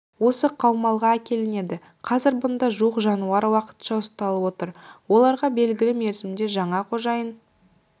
осы қаумалға әкелінеді қазір бұнда жуық жануар уақытша ұсталып отыр оларға белгілі мерзімде жаңа қожайын